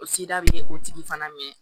O sida bɛ o tigi fana mɛn